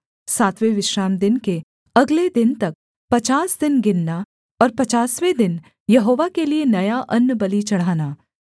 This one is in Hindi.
सातवें विश्रामदिन के अगले दिन तक पचास दिन गिनना और पचासवें दिन यहोवा के लिये नया अन्नबलि चढ़ाना